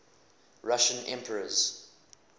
russian emperors